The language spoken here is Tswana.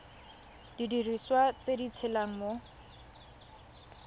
didiriswa tse di tshelang mo